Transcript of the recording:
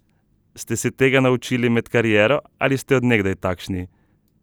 Ste se tega naučili med kariero ali ste od nekdaj takšni?